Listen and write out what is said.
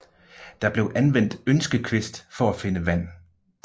Der blev anvendt ønskekvist for at finde vand